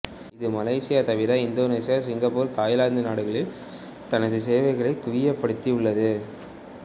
இது மலேசியா தவிர Indonesia Singapore Thailand நாடுகளில் தனது சேவைகளை குவியப்படுத்தி உள்ளது